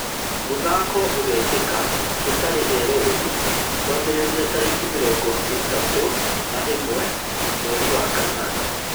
Mũthako ũgekĩka gũtarĩ eroreri kwambĩrĩria tarĩki mĩrongo ĩtatũ na ĩmwe mwerĩ wa kanana